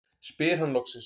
spyr hann loksins.